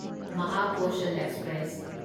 Mahakoshal express